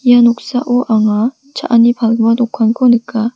ia noksao anga cha·ani palgipa palgipa dokanko nika.